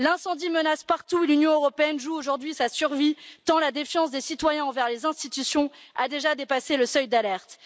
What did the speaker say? L'incendie menace partout, l'Union européenne joue aujourd'hui sa survie, tant la défiance des citoyens envers les institutions a déjà dépassé le seuil d'alerte.